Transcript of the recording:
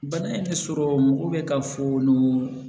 Bana in tɛ sɔrɔ mɔgɔ bɛ ka fulu